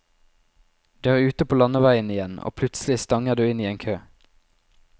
Du er ute på landeveien igjen, og plutselig stanger du inn i en kø.